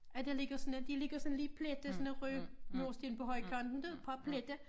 At der ligger sådan et de ligger sådan lidt plettet sådan nogen røde mursten på højkant men det bare pletter